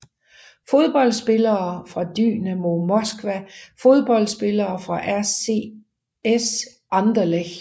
Fodboldspillere fra Dynamo Moskva Fodboldspillere fra RSC Anderlecht